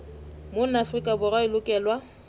mona afrika borwa e lokelwa